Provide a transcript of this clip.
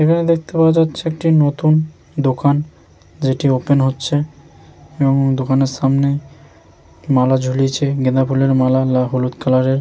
এখানে দেখতে পাওয়া যাচ্ছে একটি নতুন দোকান যেটি ওপেন হচ্ছে এবং দোকানের সামনে মালা ঝুলিয়েছে গেঁদা ফুলের মালা লা হলুদ কালার এর।